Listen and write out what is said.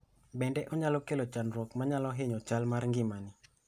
bende onyalo kelo chandruokk ma manyalo hinyo chal mar ngimani